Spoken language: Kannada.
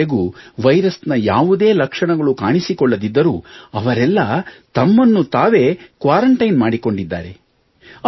ಇಲ್ಲಿಯವರೆಗೂ ವೈರಸ್ ನ ಯಾವುದೇ ಲಕ್ಷಣಗಳು ಕಾಣಿಸಿಕೊಳ್ಳದಿದ್ದರೂ ಅವರೆಲ್ಲ ತಮ್ಮನ್ನು ತಾವೇ ಕ್ವಾರಂಟೈನ್ ಮಾಡಿಕೊಂಡಿದ್ದಾರೆ